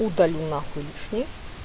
удалю нахуй лишнее